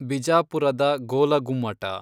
ಬಿಜಾಪುರದ ಗೋಲಗುಮ್ಮಟ